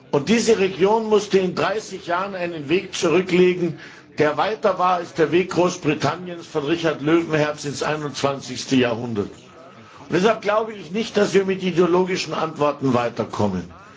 Und diese Region musste in 30 Jahren einen Weg zurücklegen, der weiter war als der Weg Großbritanniens von Richard Löwenherz bis ins 21. Jahrhundert. Deshalb glaube ich nicht, dass wir mit ideologischen Antworten weiterkommen.